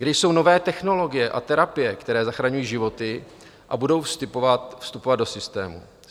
Kde jsou nové technologie a terapie, které zachraňují životy a budou vstupovat do systému?